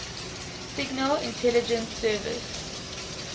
signal intelligence service